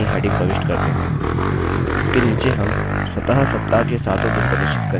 इसके नीचे हम स्वतः सप्ताह के सातों दिन प्रदर्शित करेंगे